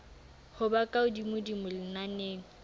ho ba ka hodimodimo lenaneng